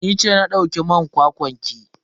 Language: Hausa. Ni ce na dauki man kwakwan ki.